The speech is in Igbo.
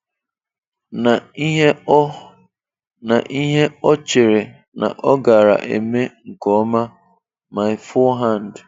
Na ihe o Na ihe o chere na ọ gaara eme nke ọma "My forehand.